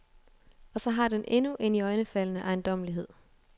Og så har den endnu en iøjnefaldende ejendommelighed.